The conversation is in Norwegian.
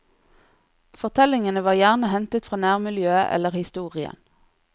Fortellingene var gjerne hentet fra nærmiljøet eller historien.